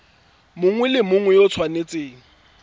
mongwe le mongwe o tshwanetse